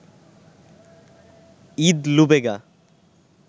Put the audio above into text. Eid লুবেগা